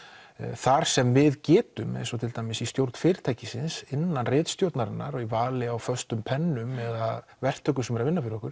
þar sem við getum eins og til dæmis í stjórn fyrirtækisins innan ritstjórnarinnar og í vali á föstum pennum eða verktökum sem eru að vinna fyrir okkur